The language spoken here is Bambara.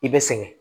I bɛ sɛgɛn